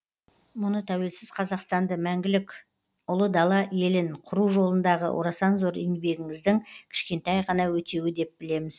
мұны тәуелсіз қазақстанды мәңгілік ұлы дала елін құру жолындағы орасан зор еңбегіңіздің кішкентай ғана өтеуі деп білеміз